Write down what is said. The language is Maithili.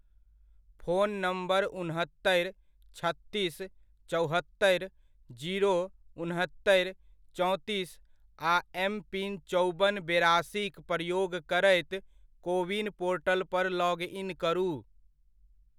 फोन नम्बर उनहत्तरि, छत्तीस, चौहत्तरि, जीरो, उनहत्तरि, चौंतीस आ एम पीन चौबन बेरासी'क प्रयोग करैत कोविन पोर्टल पर लॉग इन करू।